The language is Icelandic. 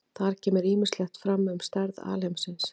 Þar kemur ýmislegt fram um stærð alheimsins.